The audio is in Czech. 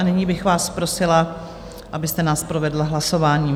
A nyní bych vás prosila, abyste nás provedla hlasováním.